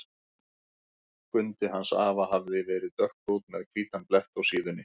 Skundi hans afa hafði verið dökkbrúnn með hvítan blett á síðunni.